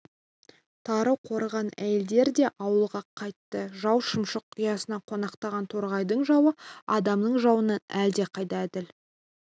тары қорыған әйелдер де ауылға қайтты жау шымшық ұясына қонақтаған торғайдың жауы адамның жауынан әлдеқайда әділ